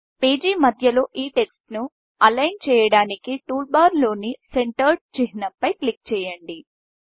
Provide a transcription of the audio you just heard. page మధ్యలో ఈ text align చేయడానికి టూల్బార్లో ని సెంటర్డ్ చిహ్నం పై క్లిక్ చెయ్యండి